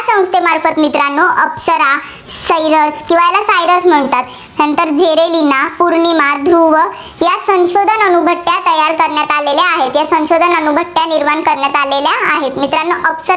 अप्सरा, Cirus किंवा ्याला cirus म्हणतात सेंटर zerlina पौर्णिमा, ध्रुव या संशोधन अणुभट्ट्या तयार करण्यात आलेल्या आहेत. या संशोधन अणुभट्ट्या निर्माण करण्यात आलेल्या आहेत. मित्रांनो अप्सरा